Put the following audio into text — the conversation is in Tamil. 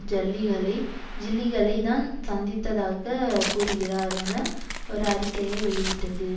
ஜல்லிகளை ஜில்லிகளை தான் சந்தித்ததாக கூறுகிறார் என ஒரு அறிக்கையை வெளியிட்டது